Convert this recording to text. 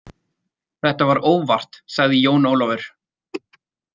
Þetta var óvart, sagði Jón Ólafur.